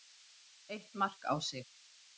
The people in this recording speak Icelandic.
Eitt mark á sig.